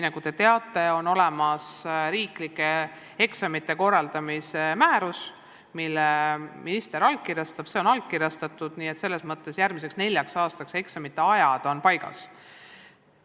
Nagu te teate, on olemas riiklike eksamite korraldamise määrus, mille minister allkirjastab, ja see on allkirjastatud, nii et selles mõttes on järgmiseks neljaks aastaks eksamite ajad paigas.